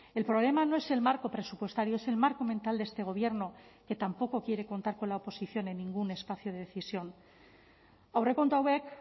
el problema no es el marco presupuestario es el marco mental de este gobierno que tampoco quiere contar con la oposición en ningún espacio de decisión aurrekontu hauek